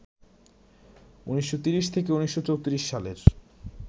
১৯৩০ থেকে ১৯৩৪ সালের